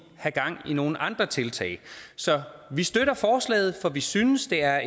have gang i nogle andre tiltag så vi støtter forslaget for vi synes det er